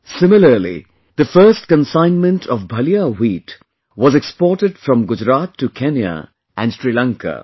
Similarly, the first consignment of Bhalia wheat was exported from Gujarat to Kenya and Sri Lanka